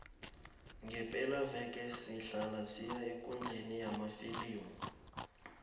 ngepelaveke sihlala siya ekundleni yamafilimu